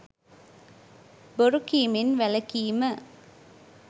බොරු කීමෙන් වැළකීම